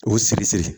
O sigisiri